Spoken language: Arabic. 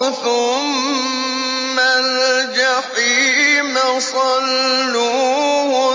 ثُمَّ الْجَحِيمَ صَلُّوهُ